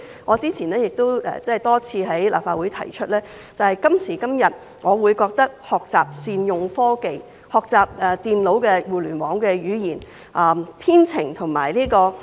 我之前多次在立法會提出，我覺得今時今日的必修科應該學習善用科技，學習電腦互聯網的語言、編程及人工智能。